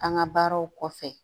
An ka baaraw kɔfɛ